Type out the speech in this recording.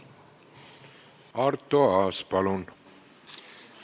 Arto Aas, palun!